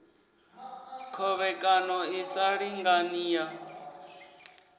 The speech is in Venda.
khovhekano i sa lingani ya